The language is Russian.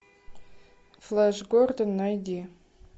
флэш гордон найди